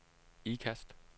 Ikast